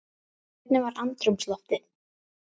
Hvernig var andrúmsloftið?